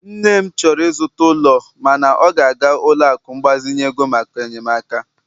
nne m chọrọ ịzụta ụlọ, mana ọ ga-aga ụlọ akụ mgbazinye ego maka enyemaka